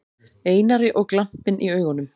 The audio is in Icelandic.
Einari og glampinn í augunum.